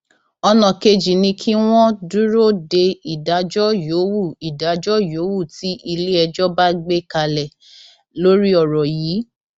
ọnà kejì ni kí wọn dúró de ìdájọ yòówù ìdájọ yòówù tí iléẹjọ bá gbé kalẹ lórí ọrọ yìí